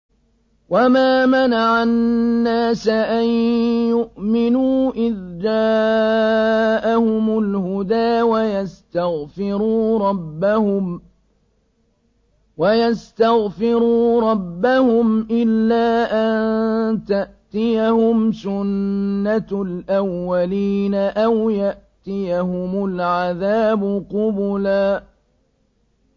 وَمَا مَنَعَ النَّاسَ أَن يُؤْمِنُوا إِذْ جَاءَهُمُ الْهُدَىٰ وَيَسْتَغْفِرُوا رَبَّهُمْ إِلَّا أَن تَأْتِيَهُمْ سُنَّةُ الْأَوَّلِينَ أَوْ يَأْتِيَهُمُ الْعَذَابُ قُبُلًا